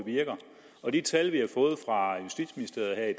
virker og de tal vi har fået fra justitsministeriet her i